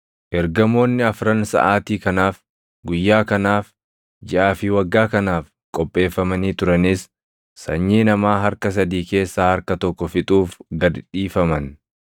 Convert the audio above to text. Ergamoonni afran saʼaatii kanaaf, guyyaa kanaaf, jiʼaa fi waggaa kanaaf qopheeffamanii turanis sanyii namaa harka sadii keessaa harka tokko fixuuf gad dhiifaman.